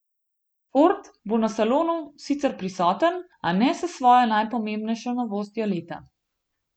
Ford bo na salonu sicer prisoten, a ne s svojo najpomembnejšo novostjo leta.